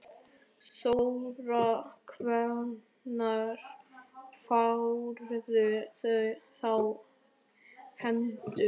Þóra: Hvenær færðu þá í hendur?